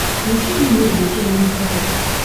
включи мне мир увлечений на смотрешке